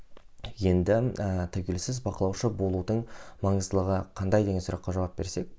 енді ііі тәуелсіз бақылаушы болудың маңыздылығы қандай деген сұраққа жауап берсек